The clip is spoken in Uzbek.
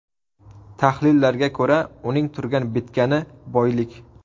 Tahlillarga ko‘ra, uning turgan-bitgani boylik.